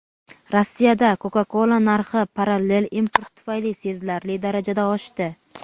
Rossiyada Coca-Cola narxi parallel import tufayli sezilarli darajada oshdi.